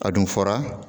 A dun fɔra